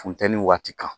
Funteni waati kan